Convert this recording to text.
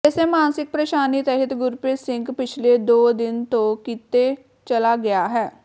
ਇਸੇ ਮਾਨਸਿਕ ਪ੍ਰੇਸ਼ਾਨੀ ਤਹਿਤ ਗੁਰਪ੍ਰੀਤ ਸਿੰਘ ਪਿਛਲੇ ਦੋ ਦਿਨ ਤੋਂ ਕਿਤੇ ਚਲਾ ਗਿਆ ਹੈ